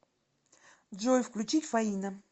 джой включить фаина